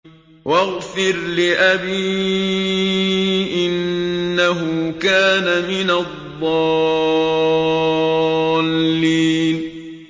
وَاغْفِرْ لِأَبِي إِنَّهُ كَانَ مِنَ الضَّالِّينَ